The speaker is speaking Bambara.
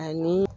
Ani